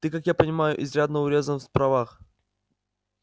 ты как я понимаю изрядно урезан в правах